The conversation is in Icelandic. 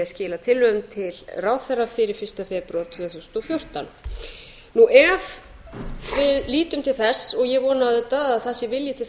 skila tillögum til ráðherra fyrir fyrsta febrúar tvö þúsund og fjórtán ef við lítum til þess og ég vona auðvitað að það sé vilji til